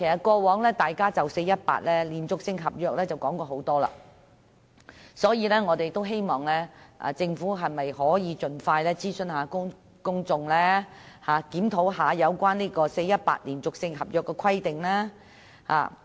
過往大家已就 "4-18" 連續性合約規定進行多次討論，所以我們希望政府盡快諮詢公眾，檢討 "4-18" 連續性合約規定。